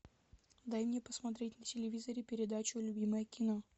дай мне посмотреть на телевизоре передачу любимое кино